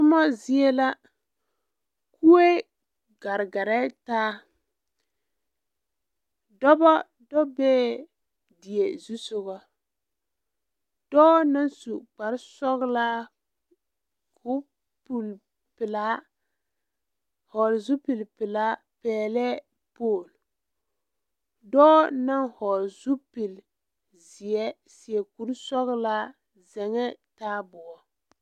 Tomɔ zie la kue ɡareɡarɛɛ taa dɔbɔ do bee die zusoɡa dɔɔ na su kparsɔɔlaa ka o puli pelaa hɔɔle zupilipelaa pɛɛlɛɛ pool dɔɔ na hɔɔle zupilizeɛ seɛ kursɔɔlaa zeŋɛɛ taaboɔ.